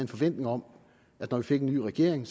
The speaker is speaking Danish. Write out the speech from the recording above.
forventning om at når vi fik en ny regering